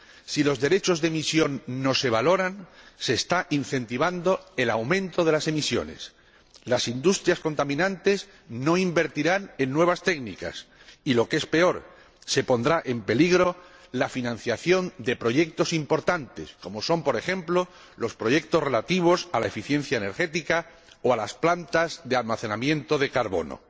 Si los derechos de emisión no se valoran, se está incentivando el aumento de las emisiones, las industrias contaminantes no invertirán en nuevas técnicas y, lo que es peor, se pondrá en peligro la financiación de proyectos importantes, como son, por ejemplo, los proyectos relativos a la eficiencia energética o a las plantas de almacenamiento de carbono.